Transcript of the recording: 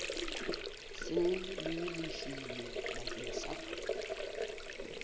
seng le lefilwe bakeng sa